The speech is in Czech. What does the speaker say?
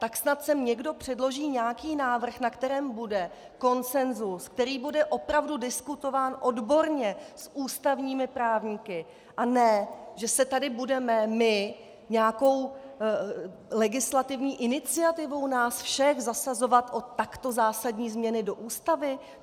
Tak snad sem někdo předloží nějaký návrh, na kterém bude konsenzus, který bude opravdu diskutován odborně s ústavními právníky, a ne že se tady budeme my nějakou legislativní iniciativou nás všech zasazovat o takto zásadní změny do ústavy.